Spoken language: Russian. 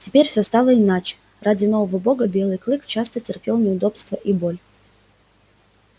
теперь все стало иначе ради нового бога белый клык часто терпел неудобства и боль